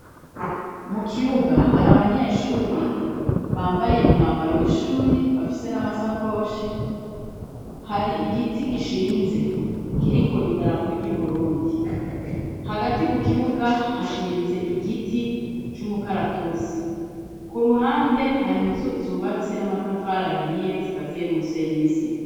Mu kibuga hari abanyeshuri bambaye umwambaro w'ishuri bafise n'amasakoshi, hari igiti gishinze kiriko idarapo ry'Uburundi, hagati mu kibuga hashinze igiti c'umukaratusi, ku ruhande hari inzu zubatse n'amatafari ahiye zikaziye n'umusenyi n'isima.